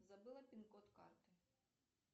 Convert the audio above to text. забыла пин код карты